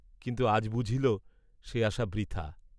কিন্তু আজ বুঝিল সে আশা বৃথা।